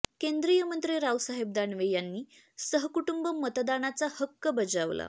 केंद्रीय मंत्री रावसाहेब दानवे यांनी सहकुटुंब मतदानाचा हक्क बजावला